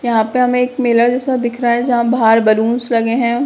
यहाँ पे हमें एक मेला जैसा दिख रहा है जहाँ बाहर बलून्स लगे हैं।